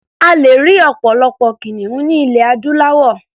A lè rí ọ̀pọ̀lọpọ̀ kìnìún ní ilẹ̀ adúláwọ̀.